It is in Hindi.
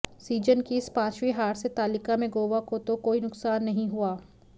सीजन की इस पांचवीं हार से तालिका में गोवा को तो कोई नुकसान नहीं हुआ